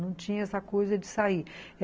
Não tinha essa coisa de sair.